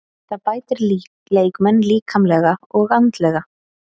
Það bætir leikmenn líkamlega og andlega.